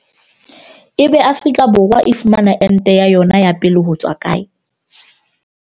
Ebe Afrika Borwa e fumana ente ya yona ya pele hotswa kae?